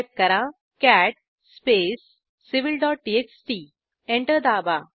type करा cat space civilटीएक्सटी enter दाबा